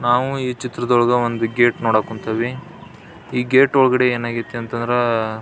ನಾವು ಈ ಚಿತ್ರದೊಳಗೆ ಒಂದು ಗೇಟ್ ನೋಡಕ್ ಕುಂತೀವಿ ಈ ಗೇಟ್ ಒಳಗೆ ಏನಾಗೈತೆ ಅಂತಂದ್ರ --